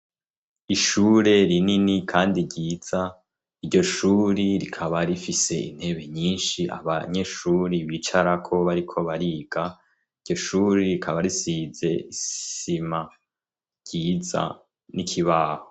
ishure rinini kandi ryiza iryo shuri rikaba rifise intebe nyinshi abanyeshuri bicara ko bariko bariga iryo shuri rikaba risize isima ryiza n'ikibaho